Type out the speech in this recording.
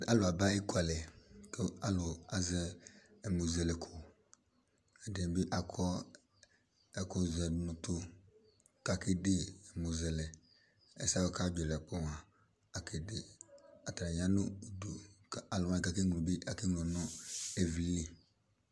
Alʋ aba ekʋalɛ kʋ alʋ azɛ ɛmʋzɛlɛ ko, ɛdini bi akɔ ɛkʋ zɛdʋ n'ʋtʋ k'akede ɛmʋzɛlɛ, asɛ k'ɔkadzɔ yɛ dzakplo mua, akede, atani ta nʋ udu kʋ alʋwani bi k'akeŋlo bi ake ŋlɔ nʋ ivlili